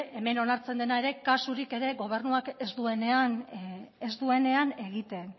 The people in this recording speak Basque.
hemen onartzen dena ere kasurik ere gobernuak ez duenean egiten